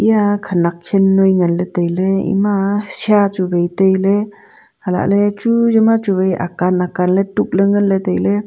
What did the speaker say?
eya khenak khen noi nganley tailey ema shia chu wai tailey alahley chu yama chu wai akan akanley tukley nganley tailey.